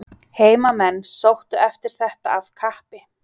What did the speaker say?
Heimamenn sóttu eftir þetta af kappi.